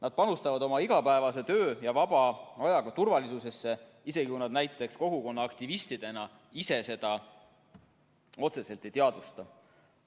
Nad panustavad oma igapäevase töö ja vaba ajaga turvalisusesse, isegi kui nad näiteks kogukonnaaktivistidena ise seda otseselt ei teadvusta.